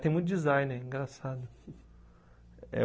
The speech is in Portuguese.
Tem muito designer, engraçado eh.